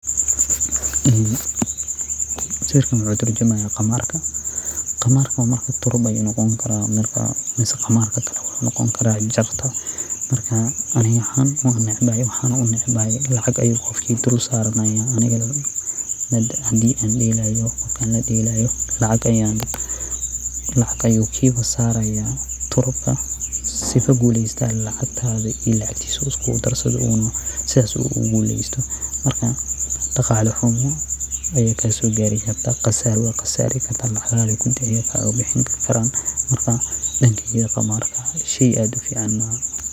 Sawirkan wuxu turjumaya qamarka oo wuxu noqoni kara turub mise qamarka jarta ayu noqoni kara aniga ahaan wan necbahay sawabto ah hadan delayo lacag ayu idulsaranayan qofka turubka sii hadi uu gulesto lacgtada iyo tisa iskugudarsado marka daqalo xumo aya kasogari karta wana qasari karta marka qamarka dankeyga shey xuun ayu kayahay.